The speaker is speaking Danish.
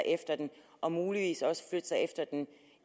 efter den og muligvis også flytte sig efter den